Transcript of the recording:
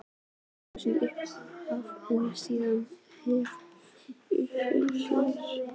eitt þúsund í upphafi en síðan varð félagið fyrir